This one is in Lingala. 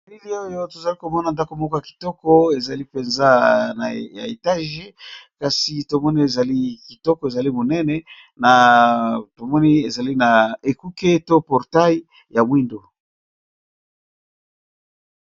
Elili oyo, tozali komona ndako moko ya kitoko ! Ezali mpenza ya etage. Kasi tomoni ezali kitoko ! Ezali monene, na tomoni ezali na ekuke to portai ya mwindo.